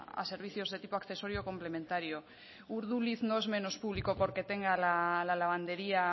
a servicios de tipo accesorio complementario urduliz no es menos público porque tenga la lavandería